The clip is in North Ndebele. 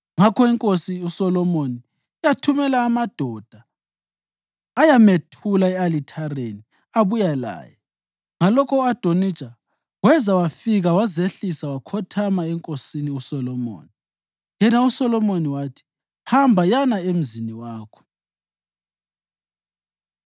Ngakho iNkosi uSolomoni yathumela amadoda, ayamethula e-alithareni abuya laye. Ngalokho u-Adonija weza wafika wazehlisa wakhothama enkosini uSolomoni, yena uSolomoni wathi. “Hamba, yana emzini wakho.”